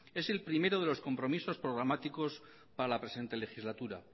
es el primero de los compromisos programáticos para la presente legislatura